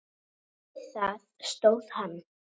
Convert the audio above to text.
Við það stóð hann.